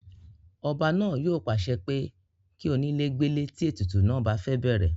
ọba náà yóò pàṣẹ pé kí onílè gbélé tí ètùtù náà bá fẹ́ bẹ̀rẹ̀